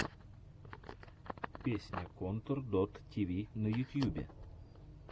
песня контор дот ти ви на ютьюбе